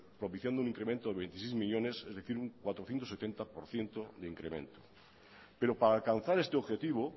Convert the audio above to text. propiciando un incremento de veintiséis millónes es decir un cuatrocientos setenta por ciento de incremento pero para alcanzar este objetivo